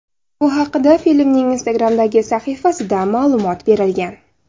Bu haqda filmning Instagram’dagi sahifasida ma’lumot berilgan.